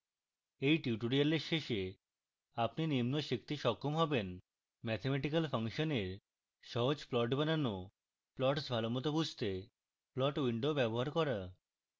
at tutorial শেষে আপনি নিম্ন শিখতে সক্ষম হবেন: